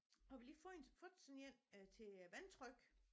Har vi lige fåen fået sådan en øh til vandtryk